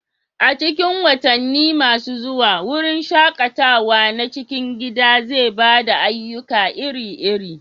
A cikin watanni masu zuwa, wurin shaƙatawa na cikin gida zai ba da ayyuka iri-iri